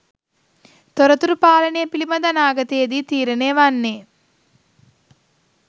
තොරතුරු පාලනය පිළිබඳ අනාගතයේදී තීරණය වන්නේ